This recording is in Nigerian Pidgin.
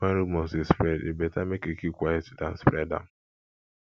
when rumors dey spread e better make you keep quiet than spread am